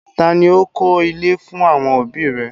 Taa ni ó kọ́ ilé fún àwọn òbí i rẹ̀?